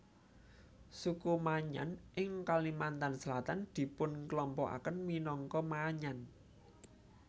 Suku Maanyan ing Kalimantan Selatan dipunkelompokaken minangka Maanyan